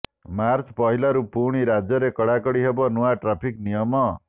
March ପହିଲାରୁ ପୁଣି ରାଜ୍ୟରେ କଡ଼ାକଡ଼ି ହେବ ନୂଆ ଟ୍ରାଫିକ୍ ନିୟମ